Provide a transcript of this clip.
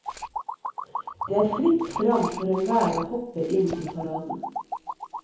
Det er fritt frem for enhver å hoppe inn i paraden.